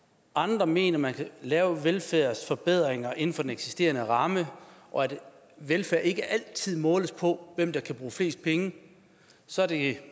andre mener at man kan lave velfærdsforbedringer inden for den eksisterende ramme og at velfærd ikke altid kan måles på hvem der kan bruge flest penge så er det